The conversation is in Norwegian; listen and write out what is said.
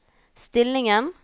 stillingen